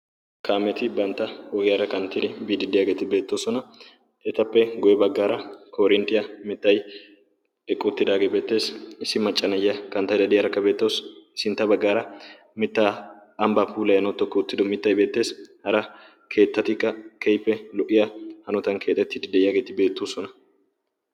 kaameti bantta oogiyaara kanttiri biidi de7yaageeti beettoosona etappe goye baggaara korinttiyaa mittai eqqoottidaagee beettees issi maccanayya kanttaida diyarakka beettawusu sintta baggaara mittaa ambba pulayanwu to kki uttido mittai beetteesi hara keettatikka kehippe lo77iya hanotan keetettidi de7iyaageeti beettoosona